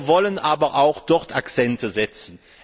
Wir wollen aber auch dort Akzente setzen.